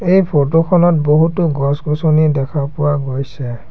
এই ফটো খনত বহুতো গছ-গছনি দেখা পোৱা গৈছে।